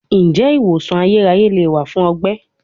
Njẹ iwosan ayeraye le wa fun ọgbẹ?